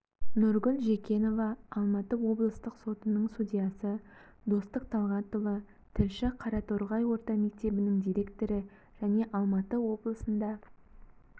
нұргүл жекенова алматы облыстық сотының судьясы достық талғатұлы тілші қараторғай орта мектебінің директоры және алматы облысында